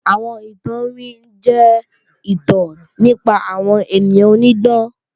Àwọn ìtàn iwin jẹ́ ìtàn nípa àwọn ènìyàn onídán